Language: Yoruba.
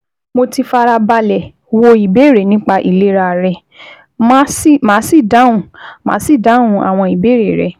Mo ti fara balẹ̀ wo ìbéèrè nípa ìlera rẹ, màá sì dáhùn màá sì dáhùn àwọn ìbéèrè rẹ